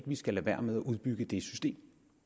vi skal lade være med at udbygge det system